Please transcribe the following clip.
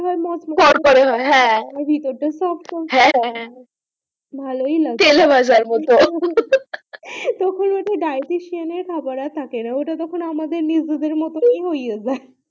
তরকারি হয় ভিতর তা ভালোই লাগছে, তেলেভাজার মতো হু হু হু তখন আর ডাইয়েট শ্রেণীর খাবার আর থাকেনা ঐটা তখন আমাদের নিজেদের মতো ই হয়ে যায়